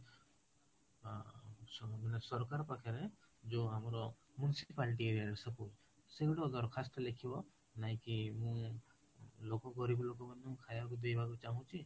ଅ ସବୁ ଦିନ ସରକାର ପାଖରେ ଯୋଉ ଆମର municipality ଏଇ area ରେ ସବୁ ସେ ଗୋଟେ ଦରକ୍ଖାସ୍ଥ ଲେଖିବି ନାଇକି ମୁଁ ଲୋକ ଗରିବ ଲୋକଙ୍କୁ ଖାଇବା ଦେବାକୁ ଚାହୁଁଛି